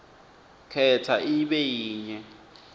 khetsa ibe yinye